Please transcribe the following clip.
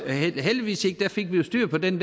jo heldigvis styr på det